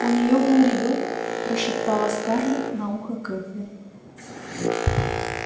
у нее был ребёнок прошептала скарлетт на ухо кэтлин